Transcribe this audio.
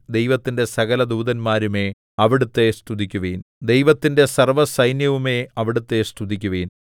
ദൈവത്തിന്റെ സകല ദൂതന്മാരുമേ അവിടുത്തെ സ്തുതിക്കുവിൻ ദൈവത്തിന്റെ സർവ്വസൈന്യവുമേ അവിടുത്തെ സ്തുതിക്കുവിൻ